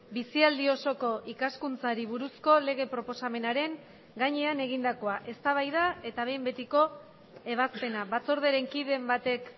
bizialdi osoko ikaskuntzari buruzko lege proposamenaren gainean egindakoa eztabaida eta behin betiko ebazpena batzordearen kiden batek